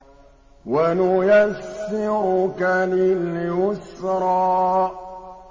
وَنُيَسِّرُكَ لِلْيُسْرَىٰ